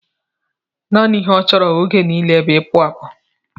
Nanị ihe ọ chọrọ oge nile bú ipu apụ